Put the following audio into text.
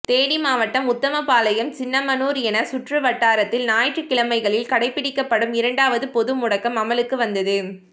தேனி மாவட்டம் உத்தமபாளையம் சின்னமனூர் என சுற்றுவட்டாரத்தில் ஞாயிற்றுக் கிழமைகளில் கடைப்பிடிக்கப்படும் இரண்டாவது பொது முடக்கம் அமலுக்கு வந்தது